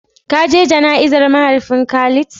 Ka je jana'izar mahaifin Khalid?